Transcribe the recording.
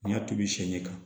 N y'a tobi sɛ ɲɛ kan